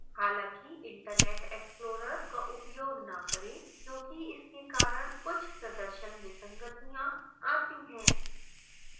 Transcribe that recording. हालांकि internet explorer का उपयोग न करें क्योंकि इसके कारण कुछ प्रदर्शन विसंगतियां आती हैं